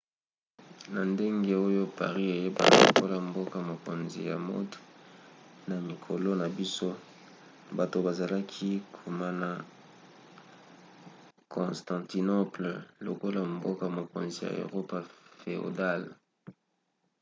na ndenge oyo paris eyebana lokola mboka-mokonzi ya mode na mikolo na biso bato bazalaki komona constantinople lokola mboka-mokonzi ya erope féodale